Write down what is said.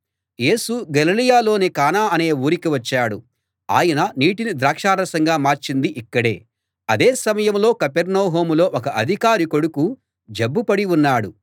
యేసు గలిలయలోని కానా అనే ఊరికి వచ్చాడు ఆయన నీటిని ద్రాక్షరసంగా మార్చింది ఇక్కడే అదే సమయంలో కపెర్నహూములో ఒక అధికారి కొడుకు జబ్బుపడి ఉన్నాడు